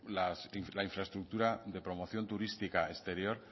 la infraestructura de promoción turística exterior